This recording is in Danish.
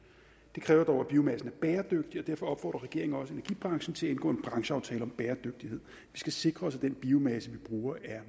det kræver dog at biomassen er bæredygtig og derfor opfordrer regeringen også energibranchen til at indgå en brancheaftale om bæredygtighed vi skal sikre os at den biomasse vi bruger er